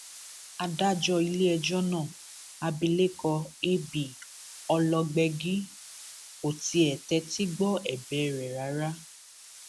adájọ iléẹjọ náà abilékọ ab ọlọgbẹgí kò tiẹ tẹtí gbọ ẹbẹ rẹ rárá